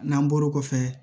N'an bɔr'o kɔfɛ